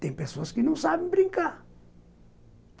Tem pessoas que não sabem brincar.